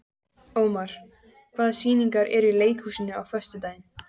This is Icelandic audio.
Ómar, hvaða sýningar eru í leikhúsinu á föstudaginn?